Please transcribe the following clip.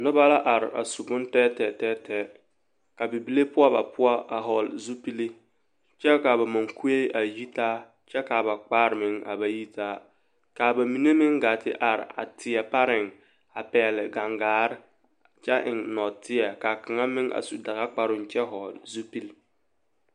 Noba la a are a su bontɛɛtɛɛ ka bibile poɔ ba poɔ a hɔɔle zupili kyɛ ka a ba mɔŋkue a yitaa kyɛ ka a ba kpar meŋ a ba yitaa ka ba mine meŋ ɡaa te are a teɛ pareŋ a pɛɡele ɡaŋɡare kyɛ eŋ nɔɔteɛ ka kaŋa meŋ su daɡakparoo kyɛ hɔɔle zupili.